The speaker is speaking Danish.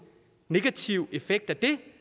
negativ effekt af det